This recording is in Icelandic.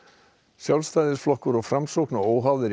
Sjálfstæðisflokkurinn og Framsókn og óháðir